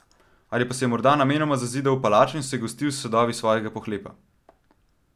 Ali pa se je morda namenoma zazidal v palačo in se gostil s sadovi svojega pohlepa?